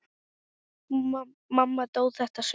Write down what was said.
Mamma dó þetta sumar.